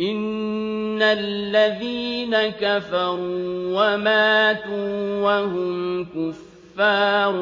إِنَّ الَّذِينَ كَفَرُوا وَمَاتُوا وَهُمْ كُفَّارٌ